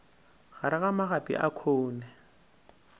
gare ga magapi a khoune